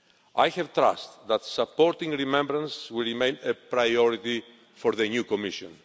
I have trust that supporting remembrance will remain a priority for the new Commission.